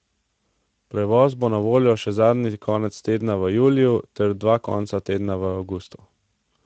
Prevoz bo na voljo še zadnji konec tedna v juliju ter dva konca tedna v avgustu.